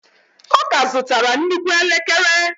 Ọ ka zụtara nnukwu elekere.